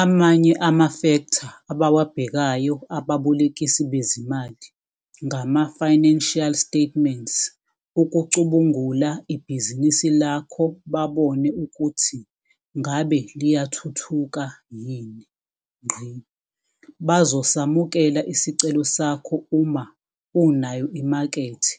Amanye amafektha abawabhekayo ababolekisi bezimali ngama-financial statements ukucubungula ibhizinisi lakho babone ukuthi ngabe liyathuhuka yini. Bazosamukela isicelo sakho uma unayo imakethe